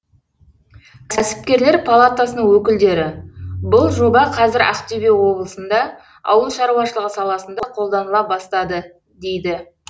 кәсіпкерлер палатасының өкілдері бұл жоба қазір ақтөбе облысында ауыл шаруашылығы саласында қолданыла бастады дейді